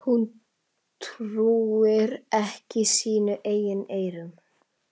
Hún trúir ekki sínum eigin eyrum.